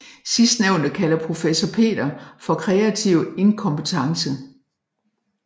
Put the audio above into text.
Sidstnævnte kalder professor Peter for kreativ inkompetence